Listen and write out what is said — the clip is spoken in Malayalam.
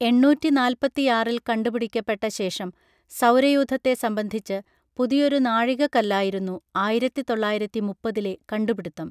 എണ്ണൂറ്റിനാൽപ്പത്തിയാറിൽ കണ്ടുപിടിക്കപ്പെട്ട ശേഷം സൗരയൂഥത്തെ സംബന്ധിച്ച് പുതിയൊരു നാഴികക്കല്ലായിരുന്നു ആയിരത്തി തൊള്ളായിരത്തി മുപ്പതിലെ കണ്ടുപിടുത്തം